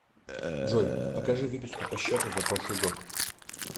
джой покажи выписку по счету за прошлый год